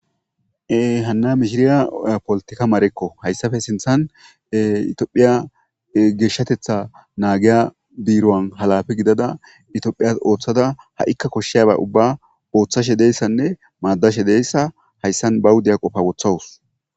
Hana mishshiriya polletica marekko hayssappe sinththan Tophphia geshshateththa naggiya birron waana giddada oththashshenne maadashe de'yassa bawu de'iya qoffa woththawusu.